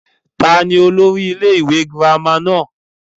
ta ni olórí ilé ìwé girama náà?